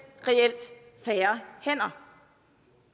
reelt færre hænder